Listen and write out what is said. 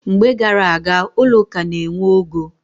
Mgbe gar aga, ụlọ ụka na-enwe ogo.